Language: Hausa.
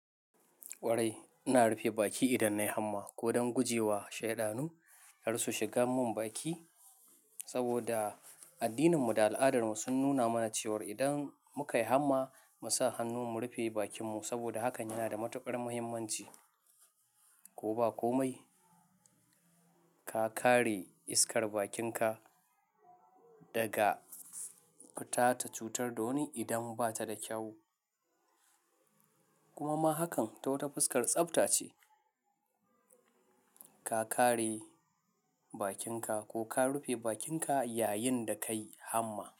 Ƙwarai, ina rufe baki idan nayi hamma ko don guje wa shaidanu kar su shiga mun baki. Saboda addininmu da al'adarmu sun nuna mana cewar idan muka yi hamma, mu sa hannu mu rufe bakinmu saboda hakan yana da matuƙar muhimmanci. Ko ba komai, ka kare iskar bakinka daga fita ta cutar da wani idan bata da kyau. Kuma ma hakan ta wata fuskar tsafta ce. Ka kare bakinka ko ka rufe bakinka yayin da kayi hamma.